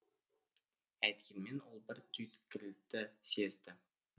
әйткенмен ол бір түйткілді сезді